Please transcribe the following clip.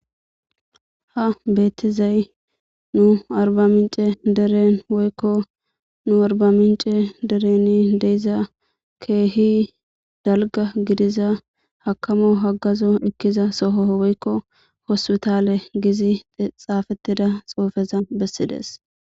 Ha beettizay nu arba mince deren woykko nu arba mince dereni deiza keehi dalga gidiza hakamo haggazo ekkiza soho woykko hospitale gizi xaafettida xoufeza bessides.